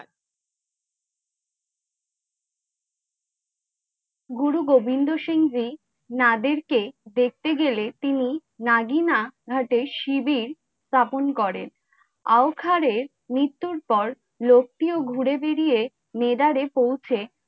গুরু গোবিন্দ সিং জি নাদের কে দেখতে গেলে তিনি নাগিনা ঘটে শিবির তপন করেন। আ ওঘরের মৃত্যু পর লোকটিও ঘুড়ে বেরিয়ে লেদাড়ে পৌছে।